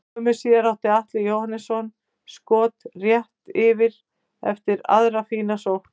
Skömmu síðar átti Atli Jóhannsson skot rétt yfir eftir aðra fína sókn.